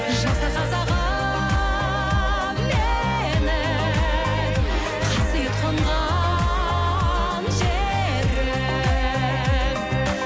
жаса қазағым менің қасиет қонған жерім